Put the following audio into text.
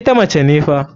Ita mace ne fa.